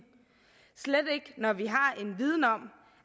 slet ikke når vi har en viden om